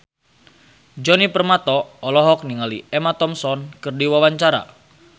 Djoni Permato olohok ningali Emma Thompson keur diwawancara